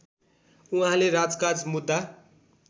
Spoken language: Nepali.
उहाँले राजकाज मुद्दा